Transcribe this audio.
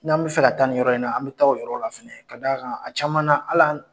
N'an bɛ fɛ ka taa ni yɔrɔ in na, an bɛ taa yɔrɔ la fɛnɛ k'a d'a kan a caman na hal'an